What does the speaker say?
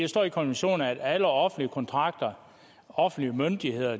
står i konventionen at alle offentlige kontrakter og offentlige myndigheder